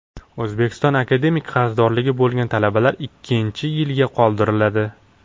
O‘zbekistonda akademik qarzdorligi bo‘lgan talabalar ikkinchi yilga qoldiriladi.